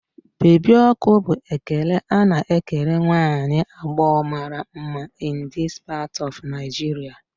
Baby ọkụ' bụ ekele a na-ekele nwa agbọghọ mara mma in this part of Nigeria